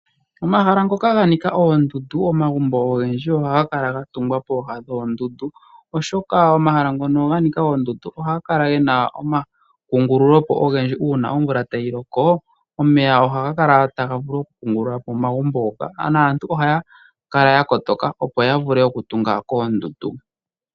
Omahala ngoka ganika oondundu, omagumbo ogendji oha ga kaka ga tungwa poha noondundu. Oshoka omahala ngono ga nika oondundu oha ga kala gena omakungululo po ogendji uuna omvula tayi loko, omeya ohaga kala taga vulu oku kungulula po omagumbo ngoka. Naantu ohaya kala ya kotoka, opo ya vule oku tunga koondundu.